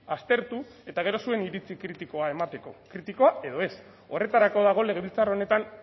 aztertu eta gero zuen iritzi kritikoa emateko kritikoa edo ez horretarako dago legebiltzar honetan